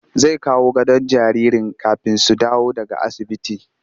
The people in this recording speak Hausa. Zai kawo gadon jaririn kafin su dawo daga asibiti